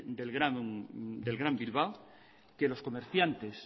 del gran bilbao que los comerciantes